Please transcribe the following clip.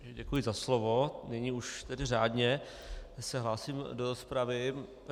Děkuji za slovo, nyní už tedy řádně se hlásím do rozpravy.